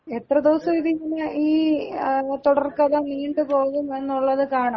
എത്ര ദിവസം ഈ തുടർക്കഥ നീണ്ടുപോകും എന്നുള്ളത് കാണാം.